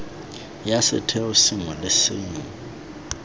ya setheo sengwe le sengwe